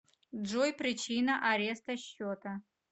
джой причина ареста счета